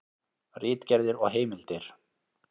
Ritgerðir og heimildir.